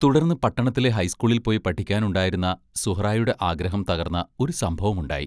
തുടർന്ന് പട്ടണത്തിലെ ഹൈസ്കൂളിൽ പോയി പഠിക്കാനുണ്ടായിരുന്ന സുഹ്റായുടെ ആഗ്രഹം തകർന്ന ഒരു സംഭവം ഉണ്ടായി.